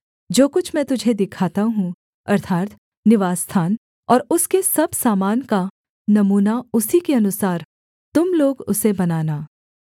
जो कुछ मैं तुझे दिखाता हूँ अर्थात् निवासस्थान और उसके सब सामान का नमूना उसी के अनुसार तुम लोग उसे बनाना